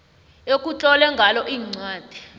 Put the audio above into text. ekutlolwe ngalo incwadi